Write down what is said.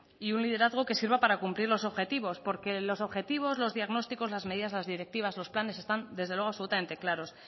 y un liderazgo que sirva para cumplir los objetivos porque los objetivos los diagnósticos las medidas las directivas los planes están desde luego absolutamente claros